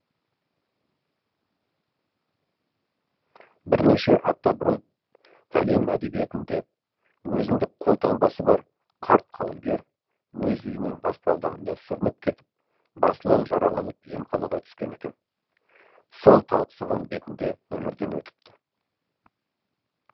бірнеше апта бұрын әлем әдебиетінде өзіндік қолтаңбасы бар қарт қаламгер өз үйінің баспалдағында сүрініп кетіп басынан жараланып емханаға түскен екен сол талықсыған бетінде өмірден өтіпті